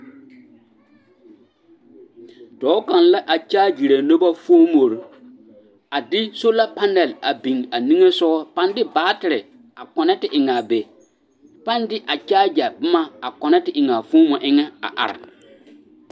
Dɔɔ kaŋ la a kyaaɡyere noba foomore a de sola panɛl a biŋ a niŋe soɡa a paŋ de baatere a kɔnɛɛte te eŋ a be a paŋ de a kyaaɡya boma a kɔnɛɛte eŋ a foomo eŋɛ a are.